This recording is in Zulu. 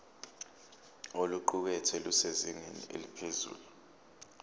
oluqukethwe lusezingeni eliphezulu